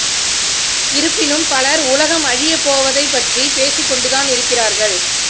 இருப்பினும் பலர் உலகம் அழியப் போவதைப் பற்றி பேசிக் கொண்டு தான் இருக்கிறார்கள்